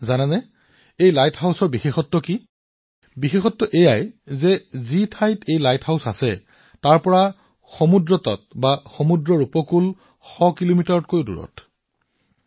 আপুনি জানে যে এই লাইট হাউচটোৰ বিশেষত্ব কি ই সাগৰৰ উপকূলৰ পৰা এতিয়া ১০০ কিলোমিটাৰতকৈ অধিক দূৰত অৱস্থিত